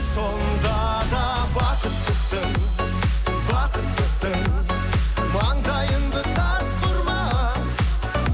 сонда да бақыттысың бақыттысың маңдайыңды тасқа ұрма